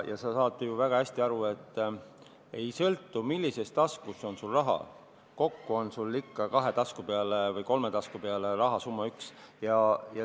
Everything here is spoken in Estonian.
Sa saad ju väga hästi aru, et summa ei sõltu sellest, millises taskus sul raha on, kokku on sul ikka kahe või kolme tasku peale üks rahasumma.